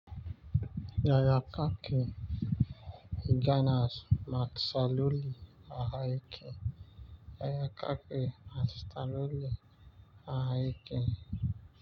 Yaya kake ganas matsaloli ahake. Yaya kake matsaloli ahake.